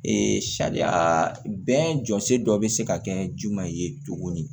sariya bɛn jɔsen dɔ bɛ se ka kɛ jumɛn ye tuguni